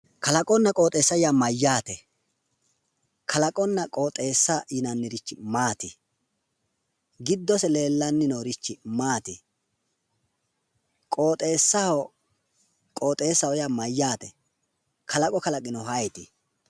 Kalaqonna qoxeessa yaa mayyate? kalaqonna qoxeessa yinannirichi maati? giddose leellanni noorichi maati? qoxeessaho yaa mayyaate? kalaqo kalaqinohu ayeeti?